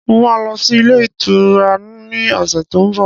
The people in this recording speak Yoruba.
Mo ma lọ sí ilé ìtura ni ọ̀sẹ̀ tó ń bọ̀